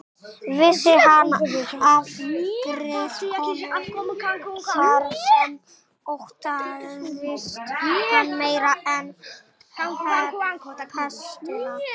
Vissi hann af griðkonu þar sem óttaðist hann meira en pestina.